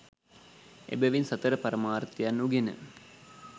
එබැවින් සතර පරමාර්ථයන් උගෙන